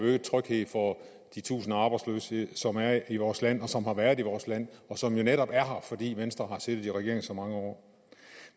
øget tryghed for de tusinder af arbejdsløse som der er i vores land og som der har været i vores land og som der netop er fordi venstre har siddet i regering i så mange år